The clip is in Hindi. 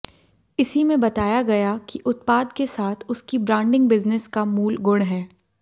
इसी में बताया गया कि उत्पाद के साथ उसकी ब्रांडिंग बिजनेस का मूल गुण है